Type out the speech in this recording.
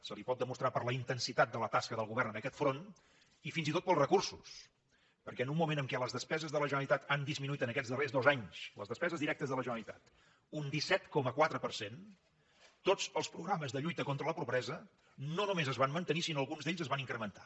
se li pot demostrar per la intensitat de la tasca del govern en aquest front i fins i tot pels recursos perquè en un moment en què les despeses de la generalitat han disminuït aquests darrers dos anys les despeses directes de la generalitat un disset coma quatre per cent tots els programes de lluita contra la pobresa no només es van mantenir sinó que alguns d’ells es van incrementar